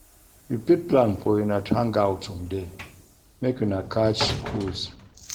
You fit plan for una to hangout someday make una catch cruise